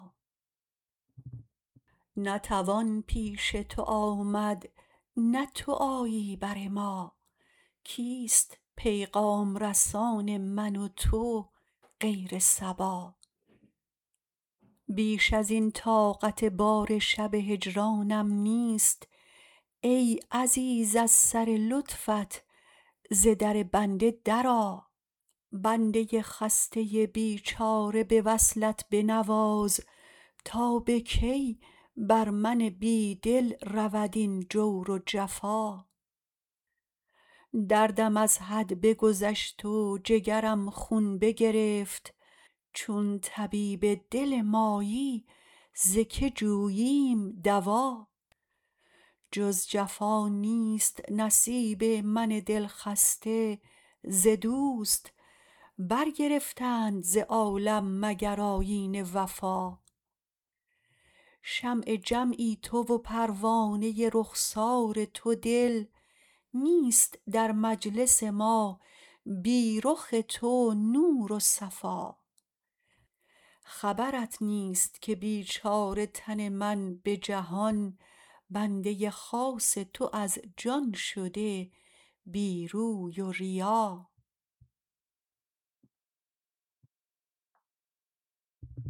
نه توان پیش تو آمد نه تو آیی بر ما کیست پیغام رسان من و تو غیر صبا بیش از این طاقت بار شب هجرانم نیست ای عزیز از سر لطفت ز در بنده درآ بنده خسته بیچاره به وصلت بنواز تا به کی بر من بی دل رود این جور و جفا دردم از حد بگذشت و جگرم خون بگرفت چون طبیب دل مایی ز که جوییم دوا جز جفا نیست نصیب من دل خسته ز دوست برگرفتند ز عالم مگر آیین وفا شمع جمعی تو و پروانه رخسار تو دل نیست در مجلس ما بی رخ تو نور و صفا خبرت نیست که بیچاره تن من به جهان بنده خاص تو از جان شده بی روی و ریا